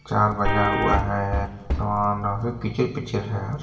चार बजा हुआ है। पीछे पीछे है।